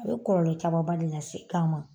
A ye kɔlɔlɔ camanba de lase se kan ma